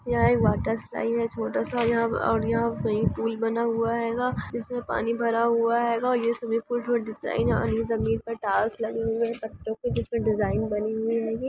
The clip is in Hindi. यह एक वॉटर-स्लाइड है वॉटर-स्लाइड स्विमिंग पूल बना हुआ हेगा इसमे पानी भरा हुआ हेगा ]